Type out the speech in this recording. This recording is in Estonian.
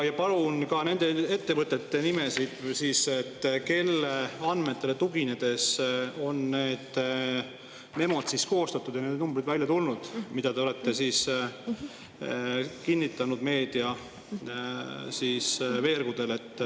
Palun ka nende ettevõtete nimesid, kelle andmetele tuginedes on see memo koostatud ja need numbrid välja tulnud, mida te olete kinnitanud meedia veergudel.